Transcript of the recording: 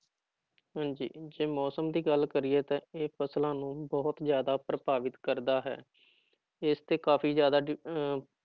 ਹਾਂਜੀ ਜੇ ਮੌਸਮ ਦੀ ਗੱਲ ਕਰੀਏ ਤਾਂ ਇਹ ਫ਼ਸਲਾਂ ਨੂੰ ਵੀ ਬਹੁਤ ਜ਼ਿਆਦਾ ਪ੍ਰਭਾਵਿਤ ਕਰਦਾ ਹੈ ਇਸਤੇ ਕਾਫ਼ੀ ਜ਼ਿਆਦਾ ਡਿ ਅਹ